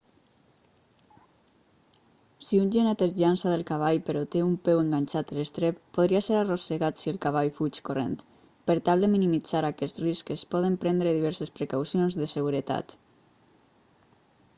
si un genet es llança del cavall però té un peu enganxat a l'estrep podria ser arrossegat si el cavall fuig corrent per tal de minimitzar aquest risc es poden prendre diverses precaucions de seguretat